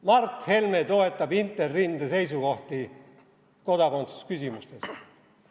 Mart Helme toetab Interrinde seisukohti kodakondsusküsimustes!